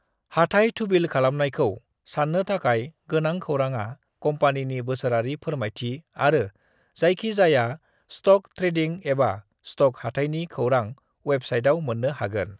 हाथाइ थुबिल खालामनायखौ साननो थाखाय गोनां खौरांआ कम्पानिनि बोसोरारि फोरमायथि आरो जायखि जाया स्ट'क-ट्रेडिं एबा स्ट'क हाथाइनि खौरां अयेबसाइटआव मोननो हागोन।